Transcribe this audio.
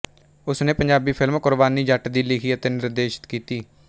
ਉਸ ਨੇ ਪੰਜਾਬੀ ਫ਼ਿਲਮ ਕੁਰਬਾਨੀ ਜੱਟ ਦੀ ਲਿਖੀ ਅਤੇ ਨਿਰਦੇਸ਼ਿਤ ਕੀਤੀ